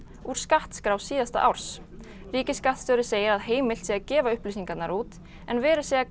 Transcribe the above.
úr skattskrá síðasta árs ríkisskattstjóri segir að heimilt sé að gefa upplýsingarnar út en verið sé að